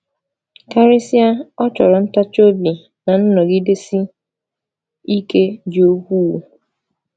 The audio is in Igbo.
Karịsịa, ọ chọrọ ntachi obi na nnọgidesi ike dị ukwuu.